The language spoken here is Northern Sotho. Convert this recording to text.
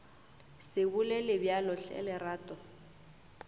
se bolele bjalo hle lerato